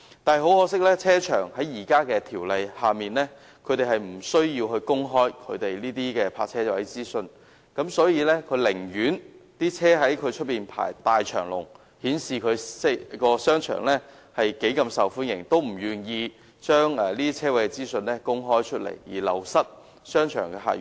但是，很可惜，停車場在現行法例下無須公開其泊車位的資訊，所以，停車場的經營者寧可汽車在其門前大排長龍，以顯示該商場多麼受歡迎，也不願意將泊車位的資訊公開，繼而流失商場的客源。